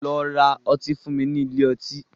Lọ ra ọtí fún mi nílé ọtí.